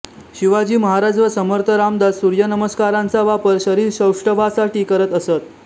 शिवाजी महाराज व समर्थ रामदास सूर्यनमस्कारांचा वापर शरीरसौष्ठवासाठी करत असत